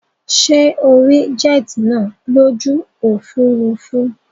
Sé o rí jet nàá lójú òfurufú